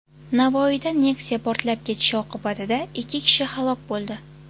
Navoiyda Nexia portlab ketishi oqibatida ikki kishi halok bo‘ldi.